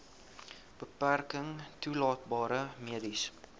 beperking toelaatbare mediese